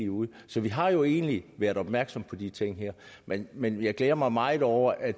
ud så vi har jo egentlig været opmærksomme på de ting her men men jeg glæder mig meget over at